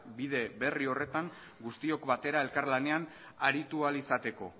bide berri horretan guztiok batera elkarlanean aritu ahal izateko